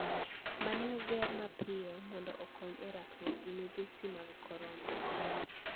Ma ne oger mapiyo mondo okony e rakruok gi midhusi mar Korona